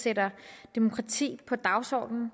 sætter demokrati på dagsordenen